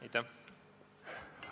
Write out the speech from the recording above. Aitäh!